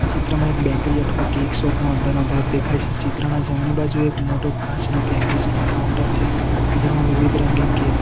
ચિત્રમાં એક બેકરી અથવા કેક શોપ નો અંદરનો ભાગ દેખાય છે ચિત્રના જમણી બાજુએ એક મોટો કાચનો કેક ડિસ્પ્લે કાઉન્ટર છે જેમાં વિવિધ રંગીન કેક --